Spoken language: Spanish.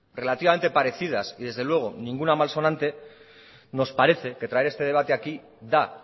relativamente parecidas y desde luego ninguna malsonante nos parece que traer este debate aquí da